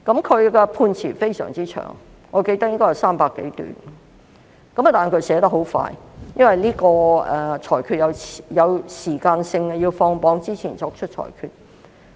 他的判詞相當長，我記得應該有300多段，但他寫得很快，因為這個裁決是有時間性的，需要在放榜前作出裁決。